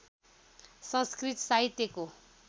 संस्कृत साहित्यको